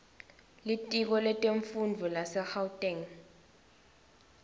litiko letemfundvo lasegauteng